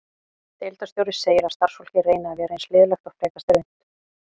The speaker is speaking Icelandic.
Deildarstjóri segir að starfsfólkið reyni að vera eins liðlegt og frekast er unnt.